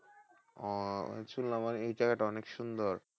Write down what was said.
ওহ শুনলাম এই জায়গা তা অনেক সুন্দর।